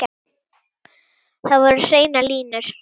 Þar voru hreinar línur.